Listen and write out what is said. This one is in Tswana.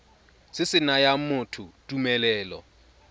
se se nayang motho tumelelo